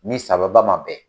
ni sababa man bɛn.